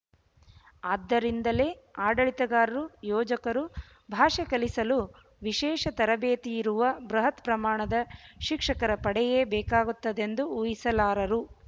ಆದ್ದರಿಂದಲೇ ಆಡಳಿತಗಾರರು ಯೋಜಕರು ಭಾಷೆ ಕಲಿಸಲು ವಿಶೇಷ ತರಬೇತಿಯಿರುವ ಬೃಹತ್ ಪ್ರಮಾಣದ ಶಿಕ್ಷಕರ ಪಡೆಯೇ ಬೇಕಾಗುತ್ತದೆಂದು ಊಹಿಸಲಾರರು